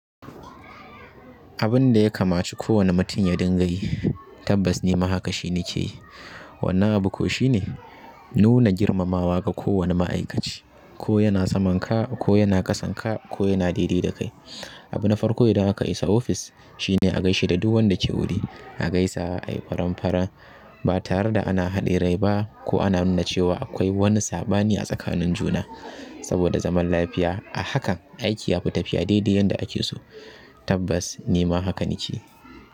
Abinda ya kamaci kowanne mutum ya dinga yi tabbas nima haka shi nakeyi. Wannan abu ko shine nuna girmamawa ga kowane ma'aikaci ko yana saman ka ko yana kasan ka ko yana daidai da kai. Abu na farko idan aka isa ofis shine a gaishe da duk wanda ke wuri a gaisa ai faran-faran ba tare da ana haɗe rai ba ko ana nuna cewa akwai wani saɓani a tsakanin juna saboda zaman lafiya a hakan aiki yafi tafiya daidai yanda ake so tabbas ni ma hakan nake yi.